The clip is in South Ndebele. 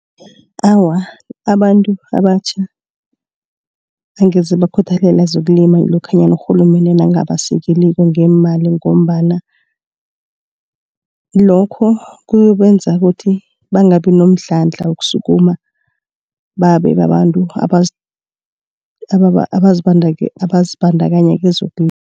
Awa abantu abatjha angeze bakhuthalela zokulima lokhanyana urhulumende nakangabasekeliko ngeemali ngombana lokho kuyobenza ukuthi bangabi nomdlandla, wokusikima babe babantu abazibandakanya